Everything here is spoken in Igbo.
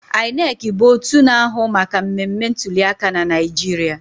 INEC bụ otu na-ahụ maka mmemme ntuliaka na Naịjirịa